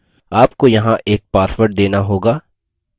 आपको यहाँ एक password देना होगा